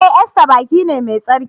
E! Easter baki ne mai tsarki.